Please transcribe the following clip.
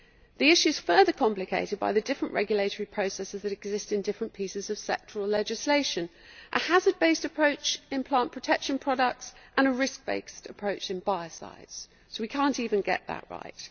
The issue is further complicated by the different regulatory processes that exist in different pieces of sectoral legislation a hazard-based approach in plant protection products and a risk-based approach in biocides so we cannot even get that right.